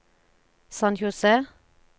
San José